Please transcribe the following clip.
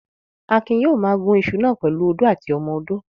Akin yóò ma gún iṣu náà pẹ̀lú u odó àti ọmọ odó